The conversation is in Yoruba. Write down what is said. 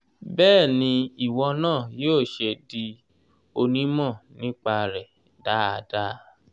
bẹ́ẹ̀ ni ìwọ náà yóò ṣe di onímọ̀ nípa rẹ̀ dáadáa.